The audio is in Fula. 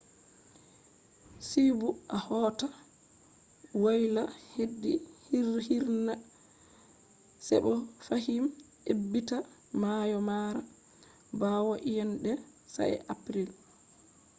see bo a hota woyla hedi hirrna se bo fahim ebbita mayo mara bawo iyeende sa'e april